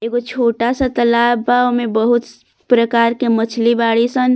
एगो छोटा सा तालाब बा ओमें बहुत प्रकार के मछली बारी सन।